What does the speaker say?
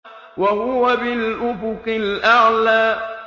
وَهُوَ بِالْأُفُقِ الْأَعْلَىٰ